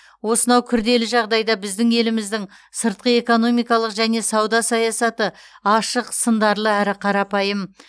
осынау күрделі жағдайда біздің еліміздің сыртқы экономикалық және сауда саясаты ашық сындарлы әрі қарапайым